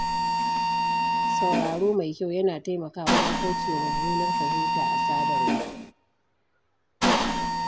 Sauraro mai kyau yana taimakawa wajen kaucewa mummunar fahimta a sadarwa.